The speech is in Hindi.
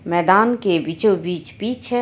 मैदान के बीचो बिच पिच है.